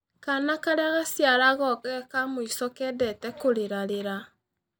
Kaana karĩa gaciaragwo geka mũico kendete kũrĩrarĩra.